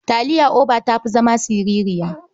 Taliyar OBA ta fi zama sirirya.